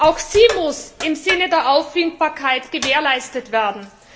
Auch sie muss im Sinne der Auffindbarkeit gewährleistet werden.